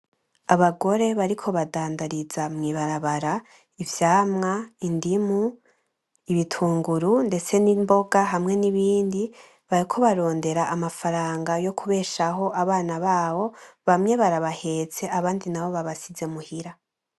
Abagore bariko badandariza mu ibarabara ivyamwa, indimu, ibitunguru ndetse n’imboga hamwe n’ibindi bariko barondera amafaranga yo kubeshaho abana babo bamwe barabahetse abandi nabo babasize imuhira.